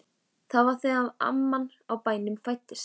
Það var þegar amman á bænum fæddist.